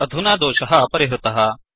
अधुना दोषः परिहृतः